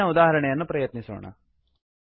ಹಿಂದಿನ ಉದಾಹರಣೆಯನ್ನು ಪ್ರಯತ್ನಿಸೋಣ